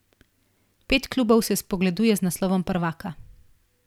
Pet klubov se spogleduje z naslovom prvaka.